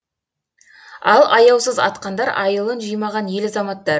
ал аяусыз атқандар айылын жимаған ел азаматтары